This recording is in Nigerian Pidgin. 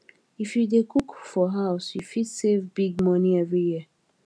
if you dey cook for house you fit save big money every year